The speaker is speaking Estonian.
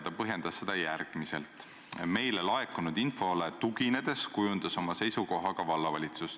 Ta põhjendas seda järgmiselt: "Meile laekunud infole tuginedes kujundas oma seisukoha ka vallavalitsus.